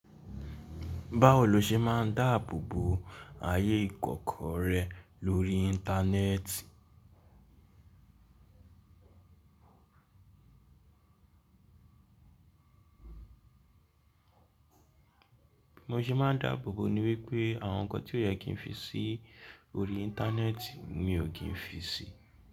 Báwo lo ṣe máa ń dáàbò bo ayé ìkọ̀kọ̀ rẹ lórí Íńtánẹ́ẹ̀tì? Bí mo ṣe máa ń dáàbò bo ní wípé àwọn ǹkan tí ó yẹ kí n fi sí orí Íńtánẹ́ẹ̀tì mi ò kí n fi sí.